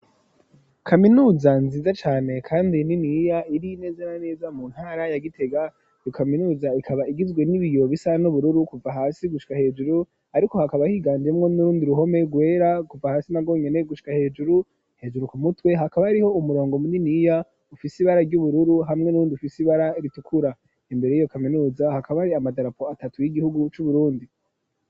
Kaminuza nziza cane kandi niniya iri neza na neza mu ntara ya gitega, iyo kaminuza ikaba igizwe n'ibiyo bisa n'ubururu kuva hasi gushika hejuru hariko hakaba higanjemwo n'urundi ruhome gwera kuva hasi na wonyene gushika hejuru hejuru ku mutwe hakaba ariho umurongo munini iya ufisi ibara ry'ubururu hamwe n'urundi ufisi ibara ritukura imbere yiyo kaminuza hakaba ari amadarapo atatu y'igihugu c'uburundi.